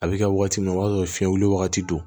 A bɛ kɛ wagati min o b'a sɔrɔ fiɲɛ wili wagati don